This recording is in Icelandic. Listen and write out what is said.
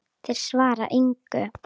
Þeir svara engu.